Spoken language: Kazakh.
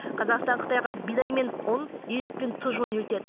қазақстан қытайға бидай мен ұн ет пен тұз жөнелтеді